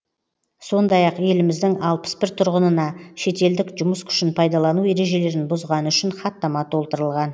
сондай ақ еліміздің алпыс бір тұрғынына шетелдік жұмыс күшін пайдалану ережелерін бұзғаны үшін хаттама толтырылған